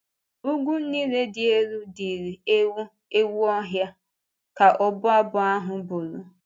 “Úgwù niile dị elu dịrị ewu ewu ọhịa,” ka ọbụ abụ ahụ bụrụ.